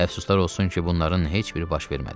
Əfsuslar olsun ki, bunların heç biri baş vermədi.